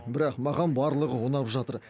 бірақ маған барлығы ұнап жатыр